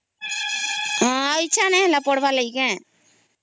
ହଁ ଇଛା ହେଲାଣି କି ପଢ଼ାବା ଲାଗି କେ